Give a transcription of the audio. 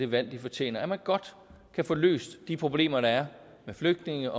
det valg de fortjener at man godt kan få løst de problemer der er med flygtninge